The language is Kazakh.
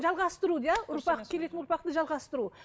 жалғастыру иә ұрпақ келетін ұрпақты жалғастыру